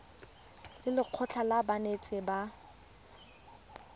le lekgotlha la banetetshi ba